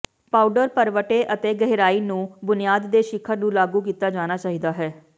powder ਭਰਵੱਟੇ ਅਤੇ ਗਹਿਰਾਈ ਨੂੰ ਬੁਨਿਆਦ ਦੇ ਸਿਖਰ ਨੂੰ ਲਾਗੂ ਕੀਤਾ ਜਾਣਾ ਚਾਹੀਦਾ ਹੈ